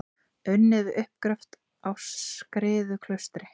Unnið við uppgröft á Skriðuklaustri.